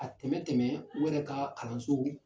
A tɛmɛ tɛmɛ u yɛrɛ ka kalanso